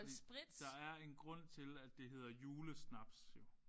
Fordi der er en grund til at det hedder julesnaps jo